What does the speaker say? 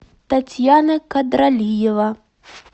татьяна кадралиева